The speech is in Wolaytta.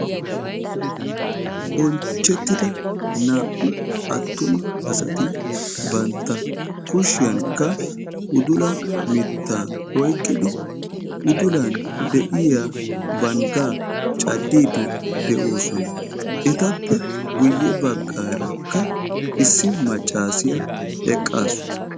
Bonchchettida naa"u attuma asati bantta kushiyan udula mittaa oyiqqidi udulan de'iya banggaa caddiiddi de'oosona. Etappe guyye baggaarakka issi maccaasiya eqqaasu.